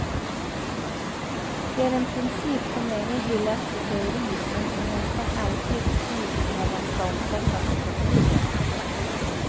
Det är en princip som länge hyllats i teorin, men som nästan alltid sviks när den ska omsättas i praktiken.